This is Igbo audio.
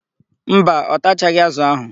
Mba, ọ tachaghị ázụ̀ áhụ̀.